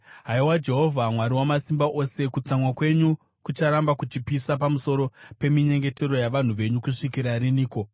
Haiwa Jehovha Mwari Wamasimba Ose, kutsamwa kwenyu kucharamba kuchipisa pamusoro peminyengetero yavanhu venyu kusvikira riniko?